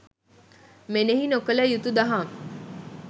මෙනෙහි නොකළ යුතු දහම්